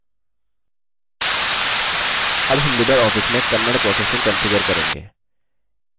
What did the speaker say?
अब हम libreoffice में kannada processing कंफिगर करेंगे